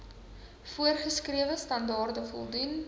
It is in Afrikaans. voorgeskrewe standaarde voldoen